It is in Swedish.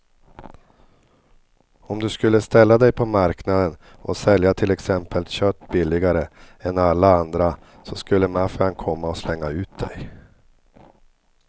Om du skulle ställa dig på marknaden och sälja till exempel kött billigare än alla andra så skulle maffian komma och slänga ut dig.